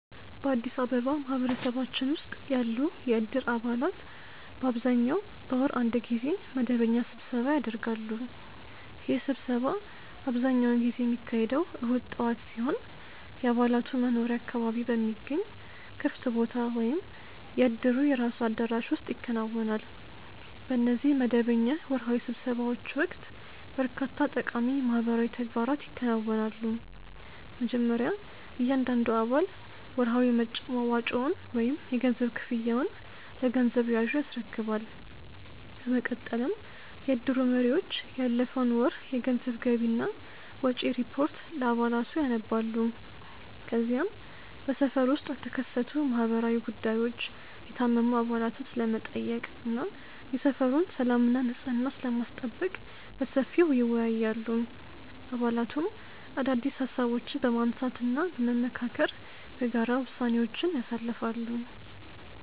በአዲስ አበባ ማህበረሰባችን ውስጥ ያሉ የእድር አባላት በአብዛኛው በወር አንድ ጊዜ መደበኛ ስብሰባ ያደርጋሉ። ይህ ስብሰባ አብዛኛውን ጊዜ የሚካሄደው እሁድ ጠዋት ሲሆን፣ የአባላቱ መኖሪያ አካባቢ በሚገኝ ክፍት ቦታ ወይም የእድሩ የራሱ አዳራሽ ውስጥ ይከናወናል። በእነዚህ መደበኛ ወርሃዊ ስብሰባዎች ወቅት በርካታ ጠቃሚ ማህበራዊ ተግባራት ይከናወናሉ። መጀመሪያ እያንዳንዱ አባል ወርሃዊ መዋጮውን ወይም የገንዘብ ክፍያውን ለገንዘብ ያዡ ያስረክባል። በመቀጠልም የእድሩ መሪዎች ያለፈውን ወር የገንዘብ ገቢና ወጪ ሪፖርት ለአባላቱ ያነባሉ። ከዚያም በሰፈሩ ውስጥ ስለተከሰቱ ማህበራዊ ጉዳዮች፣ የታመሙ አባላትን ስለመጠየቅ እና የሰፈሩን ሰላምና ንጽሕና ስለማስጠበቅ በሰፊው ይወያያሉ። አባላቱም አዳዲስ ሃሳቦችን በማንሳትና በመመካከር በጋራ ውሳኔዎችን ያሳልፋሉ።